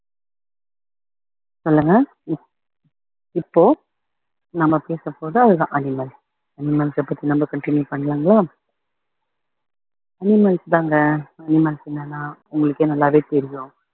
சொல்லுங்க இப்~ இப்போ நம்ம பேச போறது அதுதான் animalanimals அ பத்தி நம்ம continue பண்ணலாங்களா animals தாங்க animals இல்லைன்னா உங்களுக்கே நல்லாவே தெரியும்